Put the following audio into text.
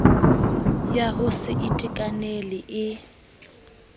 ya ho se itekanele e